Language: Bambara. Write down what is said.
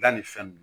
Da ni fɛn nunnu